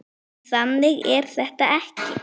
En þannig er þetta ekki.